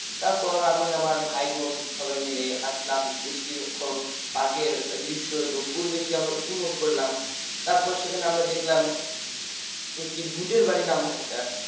তারপর আমি আমার ভাই বোন সবাই মিলে হাঁটলাম বেশ কিছুক্ষণ park র দৃশ্য এবং পরিবেশ কে আমরা উপভোগ করলাম তারপর সেখানে আমরা দেখলাম একটি ভূতের বাড়ি নামক একটা